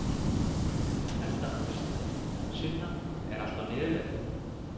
Edda Andrésdóttir: Sunna, er allt á niðurleið?